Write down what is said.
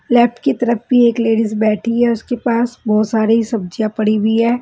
Left की तरफ भी एक लेडीज बैठी है उसके पास बहुत सारी सब्ज़ियां पड़ी हुई हैं।